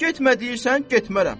Getmə deyirsən, getmərəm.